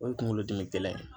O ye kunkolodimi gɛlɛn ye.